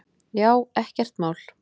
Já, ekkert mál!